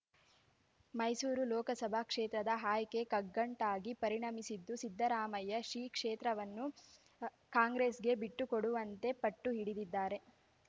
ಮೈಸೂರು ಲೋಕಸಭಾ ಕ್ಷೇತ್ರದ ಆಯ್ಕೆ ಕಗ್ಗಂಟಾಗಿ ಪರಿಣಮಿಸಿದ್ದು ಸಿದ್ದರಾಮಯ್ಯ ಶಿ ಕ್ಷೇತ್ರವನ್ನು ಕಾಂಗ್ರೆಸ್‌ಗೆ ಬಿಟ್ಟುಕೊಡುವಂತೆ ಪಟ್ಟುಹಿಡಿದಿದ್ದಾರೆ